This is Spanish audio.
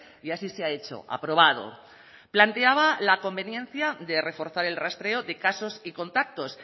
y así se ha hecho aprobado planteaba la conveniencia de reforzar el rastreo de casos y contactos